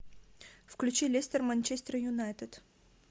включи лестер манчестер юнайтед